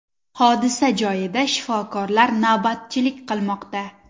Hodisa joyida shifokorlar navbatchilik qilmoqda.